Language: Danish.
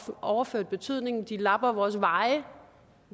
overført betydning de lapper vores veje